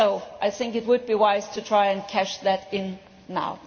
I think it would be wise to try and cash that in now!